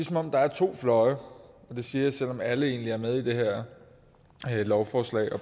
som om der er to fløje og det siger jeg selv om alle egentlig er med i det her lovforslag og